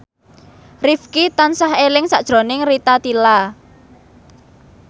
Rifqi tansah eling sakjroning Rita Tila